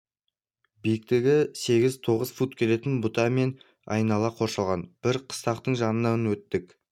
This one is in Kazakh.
биіктігі сегіз тоғыз фут келетін бұта мен айнала қоршалған бір қыстақтың жанынан өттік